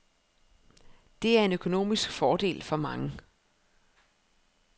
Det er en økonomisk fordel for mange.